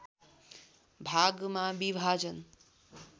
भागमा विभाजन